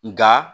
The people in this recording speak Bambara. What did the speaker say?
Nka